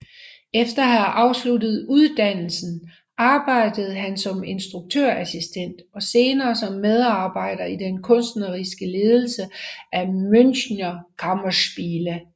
Efter at have afsluttet uddannelsen arbejdede han som instruktørassistent og senere som medarbejder i den kunstneriske ledelse af Münchner Kammerspiele